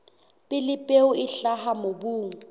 pele peo e hlaha mobung